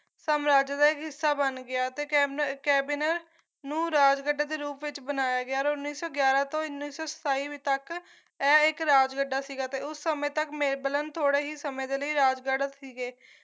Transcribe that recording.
ਸਮਰਾਜ ਦਾ ਹਿੱਸਾ ਬਣ ਗਿਆ ਤੇ ਕੈਬਨਰ ਨੂੰ ਰਾਜਗੜ੍ਹ ਦੇ ਰੂਪ ਵਿੱਚ ਬਣਾਇਆ ਗਿਆ ਔਰ ਉੱਨੀ ਸੌ ਗਿਆਰਾਂ ਤੋਂ ਉੱਨੀ ਸੌ ਸਤਾਈ ਤੱਕ ਐ ਇੱਕ ਰਾਜਗੱਡਾ ਸੀਗਾ ਤੇ ਉਸ ਸਮੇਂ ਤੱਕ ਮੇਬਲਨ ਥੋੜੇ ਹੀ ਸਮੇਂ ਦੇ ਲਈ ਰਾਜਗੜ੍ਹ ਸੀਗੇ